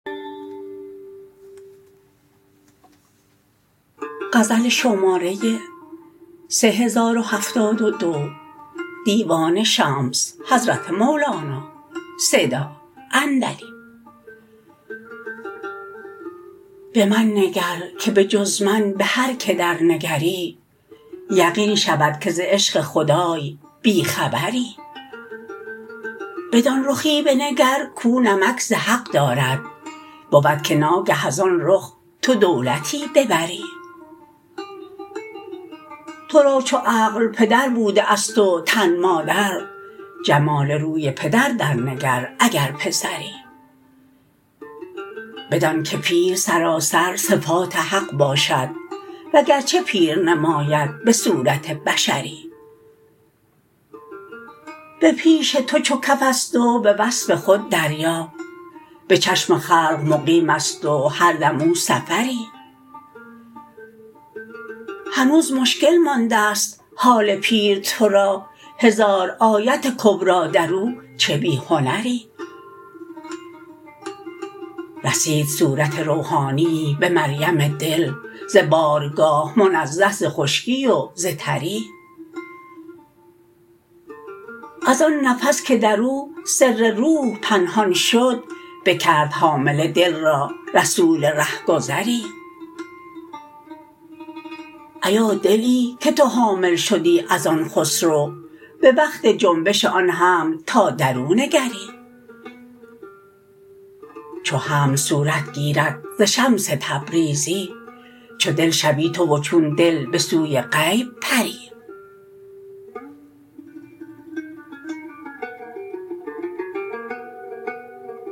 به من نگر که به جز من به هر کی درنگری یقین شود که ز عشق خدای بی خبری بدان رخی بنگر کو نمک ز حق دارد بود که ناگه از آن رخ تو دولتی ببری تو را چو عقل پدر بوده ست و تن مادر جمال روی پدر درنگر اگر پسری بدانک پیر سراسر صفات حق باشد وگرچه پیر نماید به صورت بشری به پیش تو چو کفست و به وصف خود دریا به چشم خلق مقیمست و هر دم او سفری هنوز مشکل مانده ست حال پیر تو را هزار آیت کبری در او چه بی هنری رسید صورت روحانیی به مریم دل ز بارگاه منزه ز خشکی و ز تری از آن نفس که در او سر روح پنهان شد بکرد حامله دل را رسول رهگذری ایا دلی که تو حامل شدی از آن خسرو به وقت جنبش آن حمل تا در او نگری چو حمل صورت گیرد ز شمس تبریزی چو دل شوی تو و چون دل به سوی غیب پری